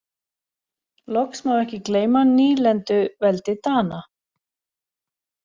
Loks má ekki gleyma nýlenduveldi Dana.